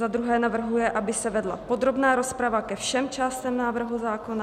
Za druhé navrhuje, aby se vedla podrobná rozprava ke všem částem návrhu zákona.